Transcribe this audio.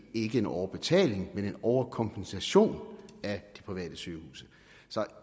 ikke en overbetaling men en overkompensation af de private sygehuse så